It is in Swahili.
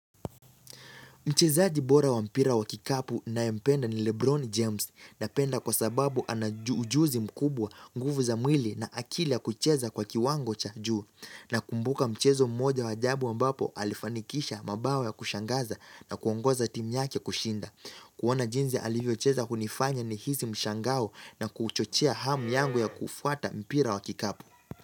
Mchezaji bora wa mpira wa kikapu nayempenda ni Lebron James napenda kwa sababu ana ujuzi mkubwa nguvu za mwili na akili ya kucheza kwa kiwango cha juu. Nakumbuka mchezo mmoja wa ajabu ambapo alifanikisha mabao ya kushangaza na kuongoza timu yake kushinda. Kuona jinzi alivyocheza hunifanya nihisi mshangao na kuchochea hamu yangu ya kufuata mpira wa kikapu.